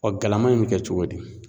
galama in mɛ kɛ cogo di?